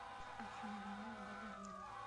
афина дневник бабы веры